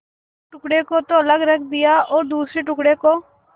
एक टुकड़े को तो अलग रख दिया और दूसरे टुकड़े को